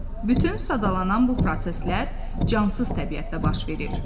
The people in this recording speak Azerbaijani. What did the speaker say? Bütün sadalanan bu proseslər cansız təbiətdə baş verir.